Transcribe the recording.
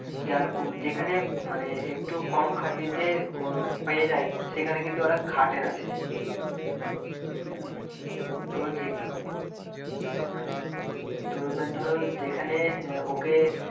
যার যেখানে মানে একটু কম খাটনিতে পেয়ে যায় সেখানে কিন্তু ওরা খাটে না বেশি তো এবার ধরো যেখানে আহ ওকে,